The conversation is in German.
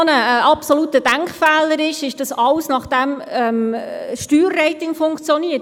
Ein absoluter Denkfehler ist auch, dass alles nach diesem Steuerrating funktioniert.